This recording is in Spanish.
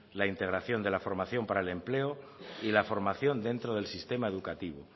la integración de la formación para el empleo y la formación dentro del sistema educativo